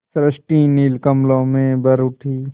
सृष्टि नील कमलों में भर उठी